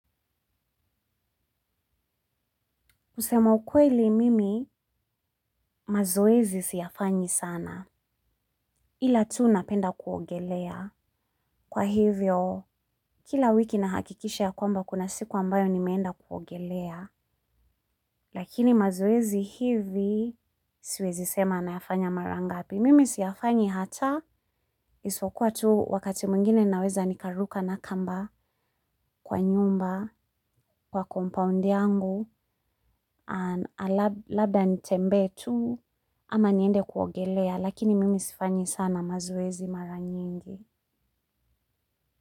Kusema ukweli mimi mazoezi siyafanyi sana. Ila tu napenda kuogelea. Kwa hivyo, kila wiki nahakikisha kwamba kuna siku ambayo nimekwenda kuogelea. Lakini mazoezi hivi siwezi sema nayafanya mara ngapi. Mimi siyafanyi hata, isipokuwa tu wakati mwingine naweza nikaruka na kamba kwa nyumba, kwa compaund yangu, labda nitembee tu ama niende kuogelea. Lakini mimi sifanyi sana mazoezi mara nyingi.